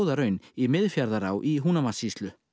raun í Miðfjarðará í Húnavatnssýslu